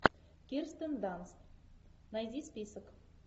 кирстен данст найди список